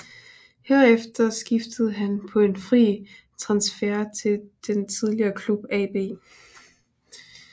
Herefter skiftede han på en fri transfer til sin tidligere klub AB